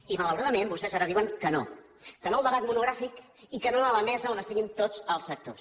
i malauradament vostès ara diuen que no que no al debat monogràfic i que no a la mesa on estiguin tots els sectors